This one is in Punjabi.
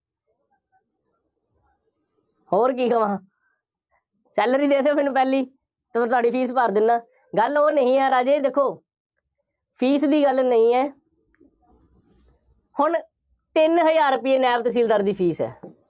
ਹੋਰ ਕੀ ਕਹਵਾਂ, salary ਦੇ ਦਿਓ ਮੈਨੂੰ ਪਹਿਲੀ, ਤਾਂ ਮੈਂ ਤੁਹਾਡੀ fees ਭਰ ਦਿੰਦਾ, ਗੱਲ ਉਹ ਨਹੀਂ ਹੈ ਰਾਜੇ, ਦੇਖੋ, fees ਦੀ ਗੱਲ ਨਹੀਂ ਹੈ, ਹੁਣ, ਤਿੰਨ ਹਜ਼ਾਰ ਰੁਪਏ ਨਾਇਬ ਤਹਿਸੀਲਦਾਰ ਦੀ fees ਹੈ।